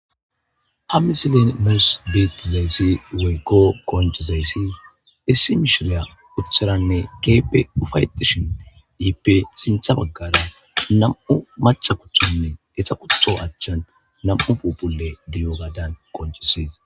ha misilen nus bettizayssi woykko qocizayssi issi mishshiriya utadanne ke'ippe ufayetishshin ippe sinththa baggara nam'u machcha kushshen etta kutto achchan nam'u phuphphule diyogadan qoncisees